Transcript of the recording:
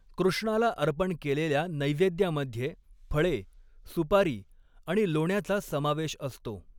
कृष्णाला अर्पण केलेल्या नैवेद्यामध्ये फळे, सुपारी आणि लोण्याचा समावेश असतो.